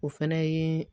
O fɛnɛ ye